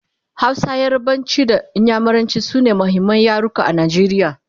Hausa, yarbanci da inyamuranci sune muhimman yaruka a Najeriya